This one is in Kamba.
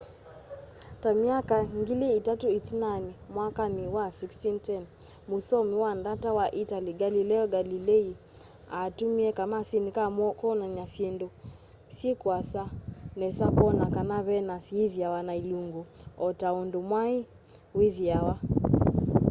ta myaka ngili itatũ ĩtinanĩ mwakani wa 1610 mũsoomi wa ndata wa italy galileo galilei aatũmĩie kamasini ka kwonan'ya syĩndũ syi kuasa nesa kwona kana venus ithiawa na ilungu o ta ũndũ mwai wĩthĩawa